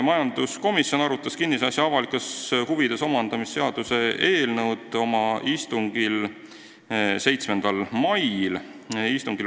Majanduskomisjon arutas kinnisasja avalikes huvides omandamise seaduse eelnõu oma istungil 7. mail.